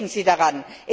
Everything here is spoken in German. Denken Sie daran.